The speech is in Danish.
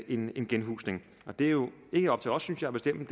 en genhusning det er jo ikke op til os synes jeg at bestemme